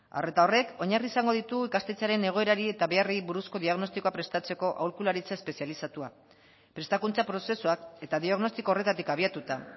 arreta horrek oinarri izango ditu ikastetxearen egoerari eta beharrei buruzko diagnostikoa prestatzeko aholkularitza espezializatua prestakuntza prozesuak eta diagnostiko horretatik abiatuta